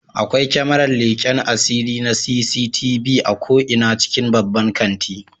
Akwai kyamarar leken asiri na CCTV a ko'ina cikin babban kanti